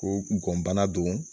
Ko ŋɔnbana do